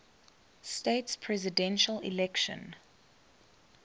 states presidential election